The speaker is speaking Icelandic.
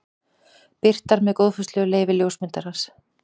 Birtar með góðfúslegu leyfi ljósmyndarans.